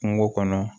Kungo kɔnɔ